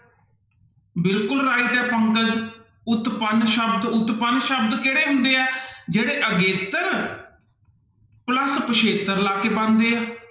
ਬਿਲਕੁਲ right ਹੈ ਪੰਕਜ, ਉਤਪੰਨ ਸ਼ਬਦ ਉਤਪੰਨ ਸ਼ਬਦ ਕਿਹੜੇ ਹੁੰਦੇ ਹੈ ਜਿਹੜੇ ਅਗੇਤਰ plus ਪਿੱਛੇਤਰ ਲੱਗ ਕੇ ਬਣਦੇ ਹੈ।